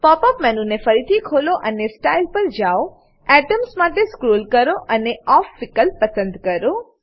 pop up menu ને ફરીથી ખોલો અને સ્ટાઇલ પર જાઓ એટમ્સ માટે સ્ક્રોલ કરો અને ઓફ વિકલ્પ પસંદ કરો